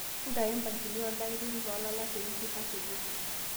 ntayu mpangilio oldakitari loo lala tewiki nasuju